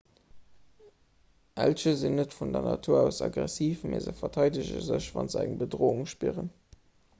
elche sinn net vun natur aus aggressiv mee se verteidege sech wa se eng bedroung spieren